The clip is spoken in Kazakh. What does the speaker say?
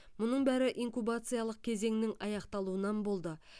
мұның бәрі инкубациялық кезеңнің аяқталуынан болды